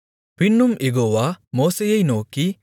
பின்னும் யெகோவா மோசேயை நோக்கி